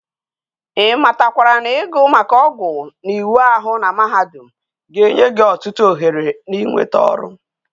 I matakwara na igu maka ogwu na iwa ahu na mahadum ga enye gi otutu oghere na inweta oru?